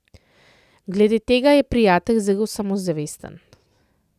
Glede tega je Prijatelj zelo samozavesten.